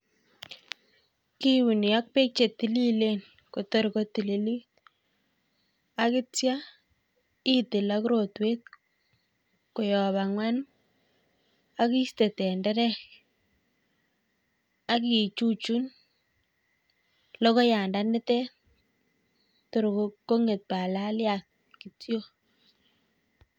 Kiuuni ak peek chetililen kotar kotililit akitcha itil ak rotwet koyaak ang'wan akiiste tenderet akichuchun logoyandat nite kong'et palalyat kityo.